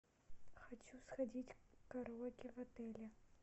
хочу сходить в караоке в отеле